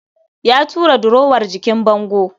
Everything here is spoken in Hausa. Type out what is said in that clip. Ya tura durowar jikin bango